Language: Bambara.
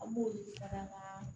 An b'olu fara an ka